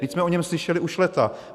Vždyť jsme o něm slyšeli už léta.